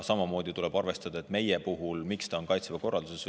Samamoodi tuleb arvestada, miks see meie puhul on Kaitseväe korralduse seaduses.